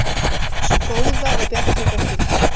Sú góða og bjartleita stúlka.